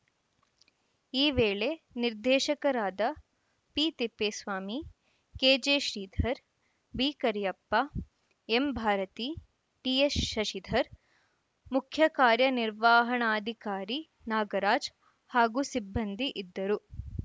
ಈ ವೇಳೆ ನಿರ್ದೇಶಕರಾದ ಪಿತಿಪ್ಪೇಸ್ವಾಮಿ ಕೆಜೆಶ್ರೀಧರ್‌ ಬಿಕರಿಯಪ್ಪ ಎಂಭಾರತಿ ಡಿಎಸ್‌ಶಶಿಧರ್‌ ಮುಖ್ಯ ಕಾರ್ಯ ನಿರ್ವಹಣಾಧಿಕಾರಿ ನಾಗರಾಜ್‌ ಹಾಗೂ ಸಿಬ್ಬಂದಿ ಇದ್ದರು